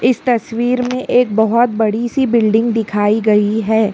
इस तस्वीर में एक बहुत बड़ी सी बिल्डिंग दिखाई गई है।